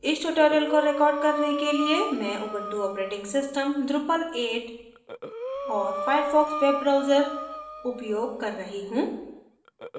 इस tutorial को record करने के लिए मैं उबंटु ऑपरेटिंग सिस्टम drupal 8 और firefox वेब ब्राउजर उपयोग कर रही हूँ